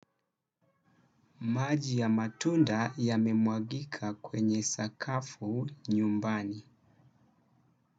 Maji ya matunda ya memwagika kwenye sakafu nyumbani.